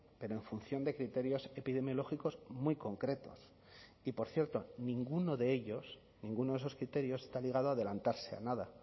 pero en función de criterios epidemiológicos muy concretos y por cierto ninguno de ellos ninguno de esos criterios está ligado a adelantarse a nada